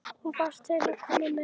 Hún var til í að koma með.